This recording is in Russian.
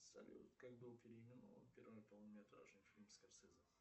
салют как был переименован первый полнометражный фильм скорсезе